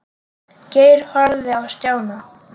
Geir horfði á Stjána.